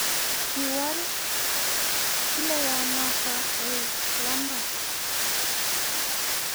Kiwalak kilowonotok koek lembech